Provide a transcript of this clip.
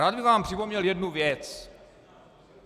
Rád bych vám připomněl jednu věc.